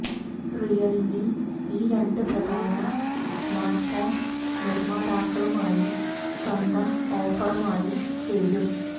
Realme ഈ രണ്ട് പ്രധാന സ്മാർട്ട്ഫോൺ നിർമ്മാതാക്കളുമായി സ്വന്തം ഓഫറുമായി ചേരും